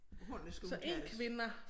Hvordan det skal udtales